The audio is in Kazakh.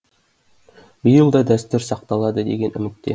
биыл да дәстүр сақталады деген үмітте